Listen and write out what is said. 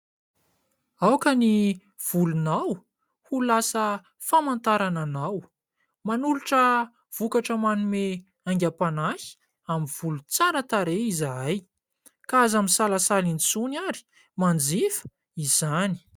Aoka ny volonao ho lasa famantarana anao. Manolotra vokatra manome haingam-panahy amin'ny volo tsara tarehy izahay ka aza misalasala intsony ary manjifa izany.